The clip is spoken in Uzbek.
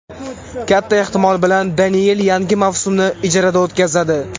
Katta ehtimol bilan Deniyel yangi mavsumni ijarada o‘tkazadi.